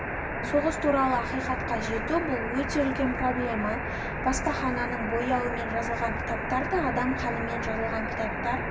соғыс туралы ақиқатқа жету бұл өте үлкен проблема баспахананың бояуымен жазылған кітаптар да адам қанымен жазылған кітаптар